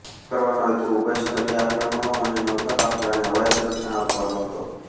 આમ કરવાનો હેતુ ઉભયસ્થલીય આક્રમણો અને નૌકાકાફલાને હવાઈ સંરક્ષણ આપવાનો હતો